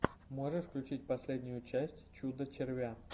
можешь включить последнюю часть чудо червя